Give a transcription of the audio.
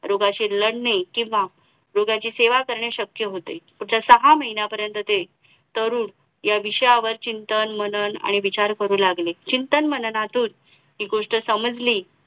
रोगाशी लढणे किंवा रोग्याची सेवा करणे शक्य होते पुढच्या सहा महिन्यात पर्यंत ते तरुण या विषयावर चिंतन मनन आणि विचार करू लागले चिंतन माननातून एक गोष्ट समजली